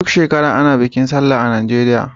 Duk shekara ana bikin sallah a Najeriya.